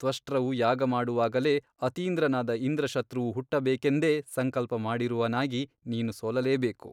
ತ್ವಷ್ಟೃವು ಯಾಗ ಮಾಡುವಾಗಲೇ ಅತೀಂದ್ರನಾದ ಇಂದ್ರಶತ್ರುವು ಹುಟ್ಟಬೇಕೆಂದೇ ಸಂಕಲ್ಪ ಮಾಡಿರುವನಾಗಿ ನೀನು ಸೋಲಲೇ ಬೇಕು.